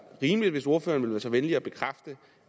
rimeligt hvis ordføreren ville være så venlig at bekræfte